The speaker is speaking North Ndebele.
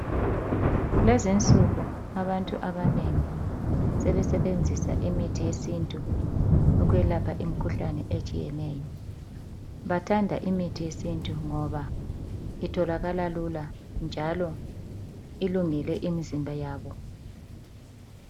Lezi insuku abantu abanengi sebesebenzisa imithi yesintu ukwelapha imikhuhlane etshiyeneyo. Bathanda imithi yesintu ngoba itholakala lula njalo ilungele imizimba yabo.